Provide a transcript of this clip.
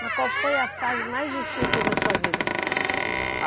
Mas qual foi a fase mais difícil da sua vida?